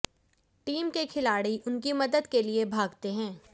team के खिलाड़ी उनकी मदद के लिए भागते है